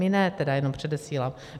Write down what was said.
My ne, tedy jenom předesílám.